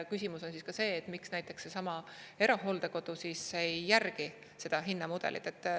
Küsimus on see, miks näiteks seesama erahooldekodu ei järgi seda hinnamudelit.